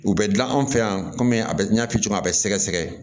U bɛ dilan an fɛ yan kɔmi a bɛ n y'a fɔ cogo min na a bɛ sɛgɛsɛgɛ